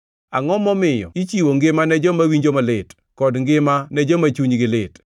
“Angʼo momiyo ichiwo ngima ne joma winjo malit, kod ngima ne joma chunygi lit,